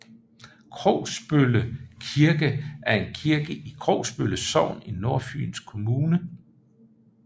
Krogsbølle Kirke er en kirke i Krogsbølle Sogn i Nordfyns Kommune